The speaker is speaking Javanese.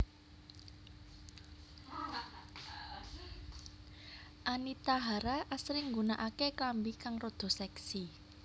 Anita Hara asring nggunakake klambi kang rada seksi